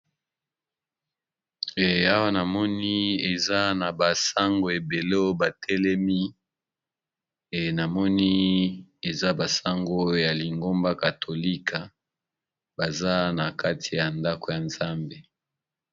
Awa namoni eza na ba sango ebele batelemi namoni eza ba sango oyo ya lingomba katolika baza na kati ya ndako ya nzambe.